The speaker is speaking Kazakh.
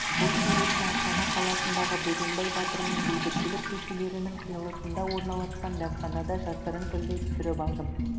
бұл суретті астана қаласындағы бөгенбай батыр мен бейбітшілік көшелерінің қиылысында орналасқан дәмханада жасырын түрде түсіріп алдым